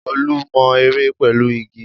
Olú mọ ère pẹ̀lú igi?